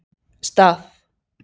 Stað